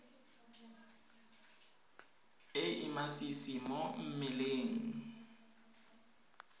e e masisi mo mmeleng